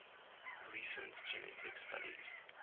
recent genetic studies